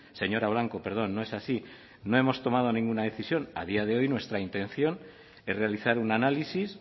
señora blanco no es así no hemos tomado ninguna decisión a día de hoy nuestra intención es realizar un análisis